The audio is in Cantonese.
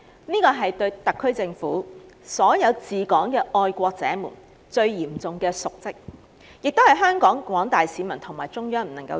這樣的話，特區政府及所有治港的愛國者們便是嚴重瀆職，實為廣大市民及中央所不容。